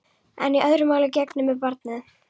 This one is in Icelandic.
En öðru máli gegnir með barnið.